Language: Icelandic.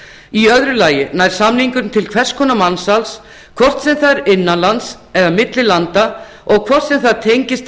í öðru lagi nær samningurinn til hvers konar mansals hvort sem það er innan lands eða milli landa og hvort sem það tengist